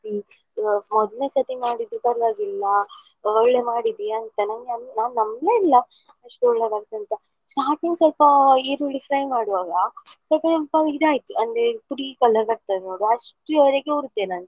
ಮೊದ್ಲ್ನೆಸರ್ತಿ ಮಾಡಿದ್ದು ಪರ್ವಾಗಿಲ್ಲಾ ಒಳ್ಳೆ ಮಾಡಿದ್ದೀಯಾ ಅಂತ ನಾನ್ ನಾನ್ ನಂಬ್ಲೇ ಇಲ್ಲಾ ಇಷ್ಟು ಒಳ್ಳೇದಾಗ್ತದೆಯಂತ. Starting ಸ್ವಲ್ಪ ಈರುಳ್ಳಿ fry ಮಾಡುವಾಗ ಸ್ವಲ್ಪ ಸ್ವಲ್ಪ ಇದಾಯಿತು ಅಂದ್ರೆ colour ಅಷ್ಟುವರೆಗೂ ಹುರ್ದೆ ನಾನು.